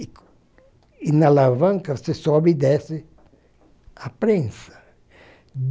e e na alavanca você sobe e desce a prensa.